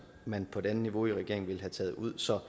man på et andet niveau i regeringen ville have taget ud så